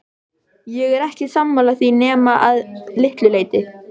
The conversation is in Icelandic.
Ég er ekki sammála því nema að litlu leyti.